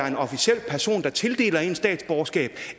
en officiel person der tildeler en et statsborgerskab